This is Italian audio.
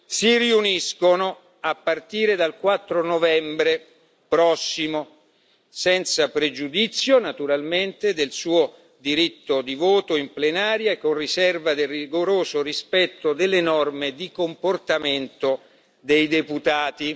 si riuniscono, a partire dal 4 novembre 2019, senza pregiudizio naturalmente del suo diritto di voto in plenaria e con riserva del rigoroso rispetto delle norme di comportamento dei deputati.